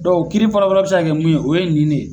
Dɔnku kiri fɔlɔfɔlɔ bɛ se ka kɛ mun ye, o ye nin de ye.